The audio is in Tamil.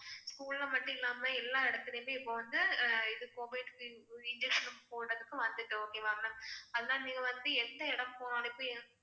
school ல மட்டுமில்லாம எல்லா இடத்திலயுமே இப்ப வந்து அஹ் இது covid shield injection போடுறதுக்கு வந்துட்டோம் okay வா ma'am அதனால நீங்க வந்து எந்த இடம் போனாலுமே